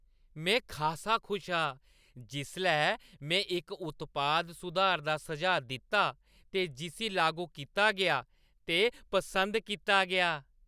में खासा खुश हा जिसलै में इक उत्पाद सुधार दा सुझाऽ दित्ता ते जिस्सी लागू कीता गेआ ते पसंद कीता गेआ।